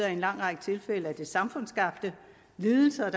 en lang række tilfælde er samfundsskabte lidelser